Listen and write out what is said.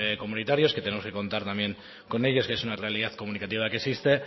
comunitarios que tenemos que contar también con ellos que es una realidad comunicativa que existe